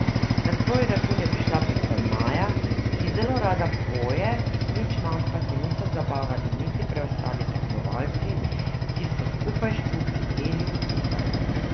Na svoj račun je prišla predvsem Maja, ki zelo rada poje, nič manj pa se niso zabavali niti preostali tekmovalci, ki so skupaj s Čuki peli in plesali.